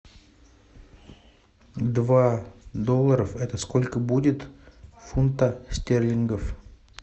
два долларов это сколько будет в фунтах стерлингов